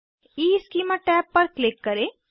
schema tab पर click करें